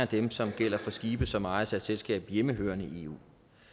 dem som gælder for skibe som ejes af et selskab hjemmehørende i eu